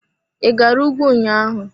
I gara ùgwù ụnyaahụ.